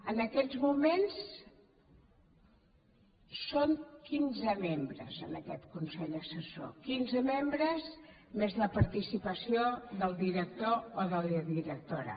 en aquests moments són quinze membres en aquest consell assessor quinze membres més la participació del director o de la directora